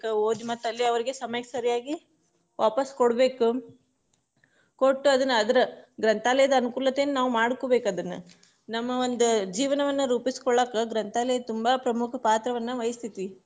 ಓದಿ ಮತ್ತೆ ಅಲ್ಲೆ ಅವ್ರಿಗೆ ಸಮಯಕ್ಕೆ ಸರಿಯಾಗಿ ವಾಪಾಸ್ ಕೊಡ್ಬೇಕು, ಕೊಟ್ಟು ಅದನ್ನ ಅದರ ಗ್ರಂಥಾಲಯದ ಅನುಕೂಲತೆನ್ನ ನಾವ್ ಮಾಡ್ಕೊಬೇಕ ಅದನ್ನ, ನಮ್ಮ ಒಂದ ಜೀವನವನ್ನ ರೂಪಿಸಿಕೊಳ್ಳಾಕ ಗ್ರಂಥಾಲಯ ತುಂಬಾ ಪ್ರಮುಖ ಪಾತ್ರವನ್ನ ವಹಿಸ್ತೇತಿ.